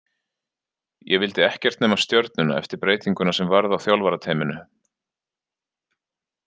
Ég vildi ekkert nema Stjörnuna eftir breytinguna sem varð á þjálfarateyminu.